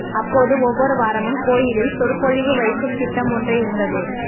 அப்போது ஒவ்வொரு வாரமும் கோயிலில் சொற்பொழிவு வைக்கும் திட்டம் ஒன்று இருந்தது